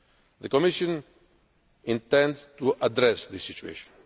refugees. The Commission intends to address the